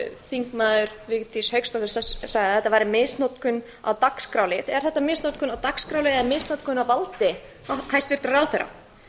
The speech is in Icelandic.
þingmaður vigdís hauksdóttir sagði að þetta væri misnotkun á dagskrárlið er þetta misnotkun á dagskrárlið eða misnotkun á valdi hæstvirtur ráðherra